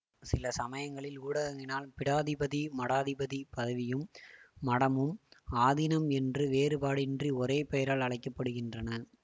சில சமயங்களில் ஊடகங்களினால் பீடாதிபதி மடாதிபதி பதவியும் மடமும் ஆதீனம் என்று வேறுபாடின்றி ஒரேபெயரால் அழைக்க படுகின்றன